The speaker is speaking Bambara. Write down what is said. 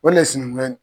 O le sinankunya in